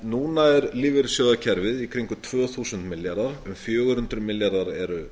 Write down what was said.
núna er lífeyrissjóðakerfið í kringum tvö þúsund milljarðar um fjögur hundruð milljarðar eru